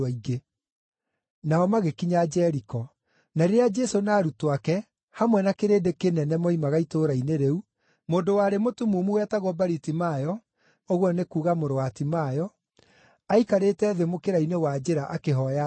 Nao magĩkinya Jeriko. Na rĩrĩa Jesũ na arutwo ake, hamwe na kĩrĩndĩ kĩnene moimaga itũũra-inĩ rĩu, mũndũ warĩ mũtumumu wetagwo Baritimayo (ũguo nĩ kuuga mũrũ wa Timayo), aikarĩte thĩ mũkĩra-inĩ wa njĩra akĩhooya thendi.